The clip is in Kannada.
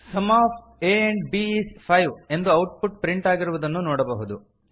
ಸುಮ್ of a and b is 5 ಎಂದು ಔಟ್ ಪುಟ್ ಪ್ರಿಂಟ್ ಆಗಿರುವುದನ್ನು ನೋಡಬಹುದು